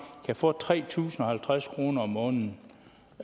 kan få tre tusind og halvtreds kroner om måneden